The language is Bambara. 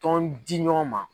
Tɔn di ɲɔgɔn ma.